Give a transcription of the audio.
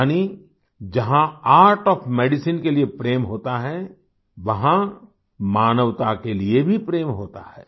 यानि जहाँ art of medicine के लिए प्रेम होता है वहाँ मानवता के लिए भी प्रेम होता है